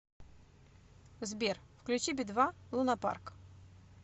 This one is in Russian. сбер включи би два лунапарк